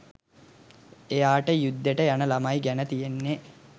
එයාට යුද්දෙට යන ළමයි ගැන තියෙන්නෙ